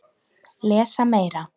Lesa Meira